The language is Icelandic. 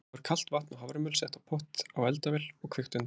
Þá er kalt vatn og haframjöl sett í pott á eldavél og kveikt undir.